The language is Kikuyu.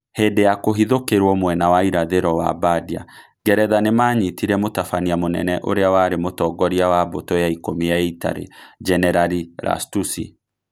Hĩndĩ ya kũhithũkĩrũo mwena wa irathĩro wa Bardia, Ngeretha nĩ maanyitire Mũtabania mũnene ũrĩa warĩ Mũtongoria wa Mbũtũ ya Ikũmi ya Italy, Jenerari Lastucci.